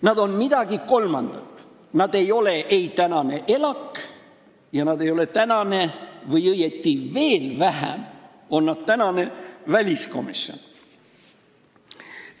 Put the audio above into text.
Nad on midagi kolmandat, nad ei ole ei tänane ELAK ja nad ei ole tänane ..., õieti veel vähem on nad tänane väliskomisjon.